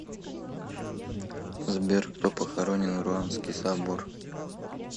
сбер кто похоронен в руанский собор